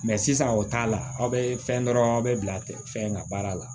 sisan o t'a la aw bɛ fɛn dɔrɔn aw bɛ bila tɛ fɛn ka baara la